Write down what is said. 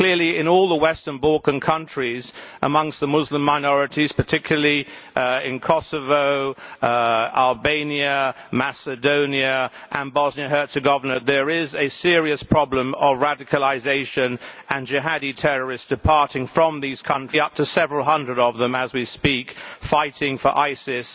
Clearly, in all the Western Balkan countries, amongst the Muslim minorities particularly in Kosovo, Albania, Macedonia, and Bosnia and Herzegovina there is a serious problem of radicalisation and of jihadi terrorists departing from these countries. Up to several hundred of them may be, as we speak, fighting for ISIS